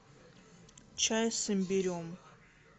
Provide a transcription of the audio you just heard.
чай с имбирем